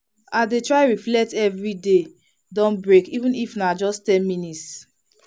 i dey try reflect every day don break even if na just ten minutes.